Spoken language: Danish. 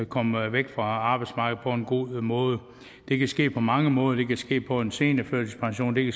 komme væk fra arbejdsmarkedet på en god måde det kan ske på mange måder det kan ske på en seniorførtidspension det